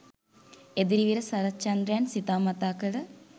එදිරිවීර සරච්චන්ද්‍රයන් සිතා මතා කළ